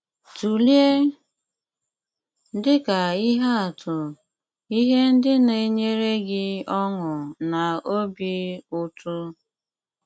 Tùlèè, dị ka ihe atụ, ihe ndị na-enyère gị ọṅụ na òbì ùtù.